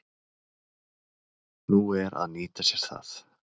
Nú er að nýta sér það.